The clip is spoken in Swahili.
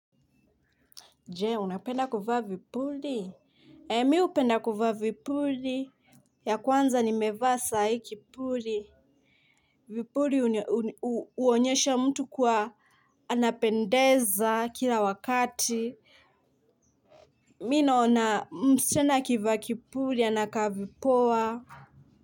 Je, unapenda kuvaa vipuli? Eeh! Mi hupenda kuvaa vipuli. Ya kwanza nimevaa saa hii kipuli. Vipuli huonyesha mtu kuwa anapendeza kila wakati MI naona msichana akivaa kipuli anakaa vipoa.